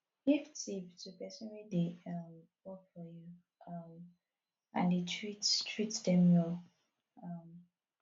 give tip to persin wey de um work for you um and dey treat treat them well um